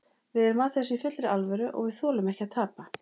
Við erum að þessu í fullri alvöru og við þolum ekki að tapa.